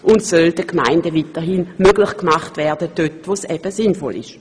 Sie soll den Gemeinden weiterhin möglich gemacht werden, wo es sinnvoll ist.